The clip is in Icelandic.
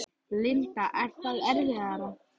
Linda: Er það erfiðara?